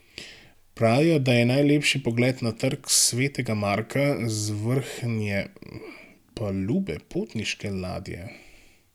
Pravijo, da je najlepši pogled na Trg svetega Marka z vrhnje palube potniške ladje.